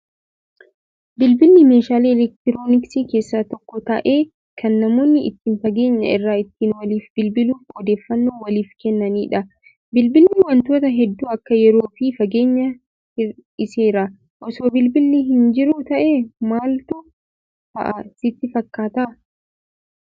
Bilbilli meeshaalee elektirooniksii keessaa tokko ta'ee kan namoonni ittiin fageenya irraa ittiin waliif bilbiluun odeeffannoo waliif kennanidha. Bilbilli wantoota hedduu Akka yeroo fi fageenyaa hir'iseera. Osoo bilbilli hin jiru ta'ee maaltu ta'a sitti fakkaataa?